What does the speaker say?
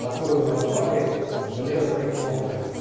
которую называли железной кнопкой